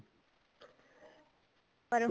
ਪਰ